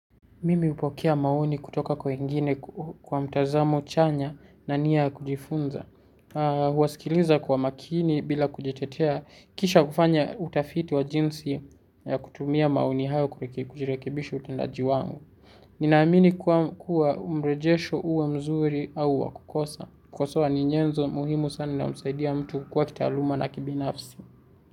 Mimi hupokea maoni kutoka kwa wengine kwa mtazamo chanya na nia ya kujifunza. Huwasikiliza kwa makini bila kujitetea kisha kufanya utafiti wa jinsi ya kutumia maoni hayo kurekebisha utendaji wangu. Ninaamini kuwa mrejesho huwa mzuri au wa kukosa. Kukosoa ni nyenzo muhimu sana na humsaidia mtu kukua kitaaluma na kibinafsi.